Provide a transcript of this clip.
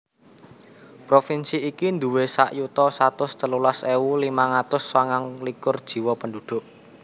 Provinsi iki duwé sak yuta satus telulas ewu limang atus sanga likur jiwa penduduk